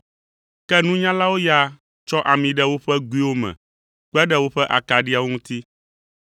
Ke nunyalawo ya tsɔ ami ɖe woƒe goewo me kpe ɖe woƒe akaɖiawo ŋuti.